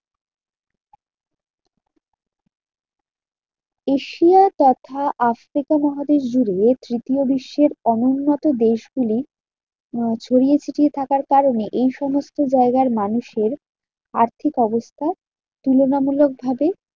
Asia তথা Africa মহাদেশ জুড়ে তৃতীয় বিশ্বের অনুন্নত দেশগুলি আহ ছড়িয়ে ছিটিয়ে থাকার কারণে, এইসমস্ত জায়গায় মানুষের আর্থিক অবস্থা তুলনামূলক ভাবে